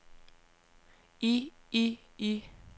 i i i